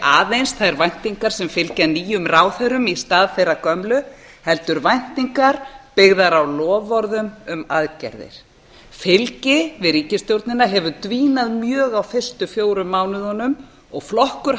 aðeins þær væntingar sem fylgja nýjum ráðherrum í stað þeirra gömlu heldur væntingar byggðar á loforðum um aðgerðir fylgi við ríkisstjórnina hefur dvínað mjög á fyrstu fjórum mánuðunum og flokkur